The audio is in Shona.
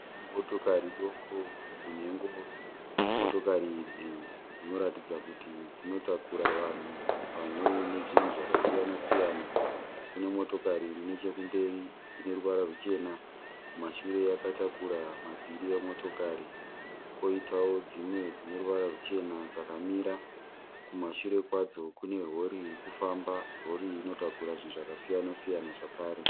Motokari doko dzine ngoro, motokari idzi dzinoratidza kuti dzinotakura vanhu pamwe nezvinhu zvakasiyana siyana, kune motokari iri nechekumberi ine ruvara ruchena kumashure yakatakura mavhiri emotokari koitawo dzimwe dzine ruvara ruchena dzakamira kumashure kwadzo kune rori iri kufamba, rori iyi inotakura zvinhu zvakasiyana siyana zvakare.